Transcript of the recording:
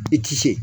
I ti se